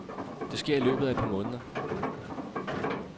Det sker i løbet af et par måneder.